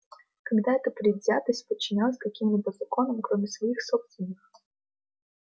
когда это предвзятость подчинялась каким-либо законам кроме своих собственных